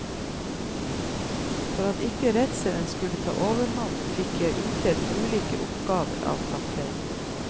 For at ikke redselen skulle ta overhånd fikk jeg utdelt ulike oppgaver av kapteinen.